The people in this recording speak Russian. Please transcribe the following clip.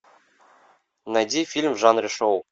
найди фильм в жанре шоу